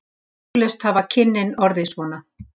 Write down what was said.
Eflaust hafa kynnin orðið svona.